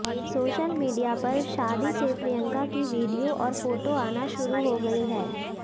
social media पर शादी से प्रियंका की वीडियो और फोटो आना शुरू हो गई है